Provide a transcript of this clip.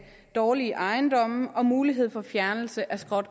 dårlige ejendomme og mulighed for fjernelse af skrot